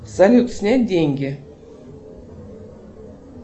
салют снять деньги